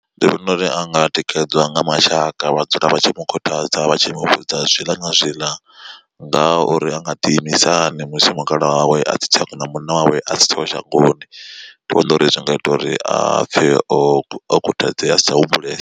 Ndi vhona uri anga tikedzwa nga mashaka vha dzula vha tshi mu khuthadza vhatshi muvhudza zwiḽa na zwiḽa ngaha uri anga ḓi imisa hani musi mukalaha wawe asi kana munna wawe a si tsheho shangoni. Ndi vhona uri zwi nga ita uri a pfhe o khuthadzea a si tsha humbulesa.